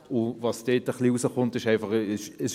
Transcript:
Was da herauskommt ist: